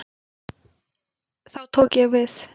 Þá tók ég við.